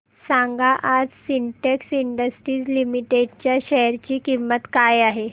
सांगा आज Sintex Industries Limited च्या शेअर ची किंमत काय आहे